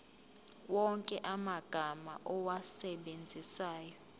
wonke amagama owasebenzisayo